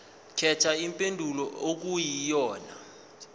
khetha impendulo okuyiyona